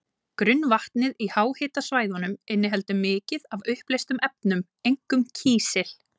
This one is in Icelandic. Grunnvatnið í háhitasvæðunum inniheldur mikið af uppleystum efnum, einkum kísil.